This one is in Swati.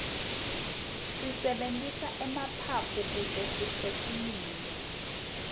sisebentisa emaphaphu kute siphefumule